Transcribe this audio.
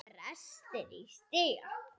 Brestir í stiga.